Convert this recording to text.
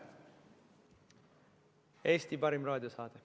Eesti parim raadiosaade.